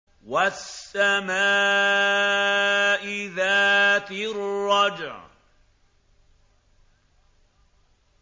وَالسَّمَاءِ ذَاتِ الرَّجْعِ